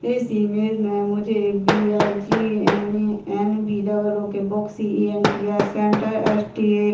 इस इमेज में मुझे एक B I G. N A N. B double O K C E N T E R. Centre S T. --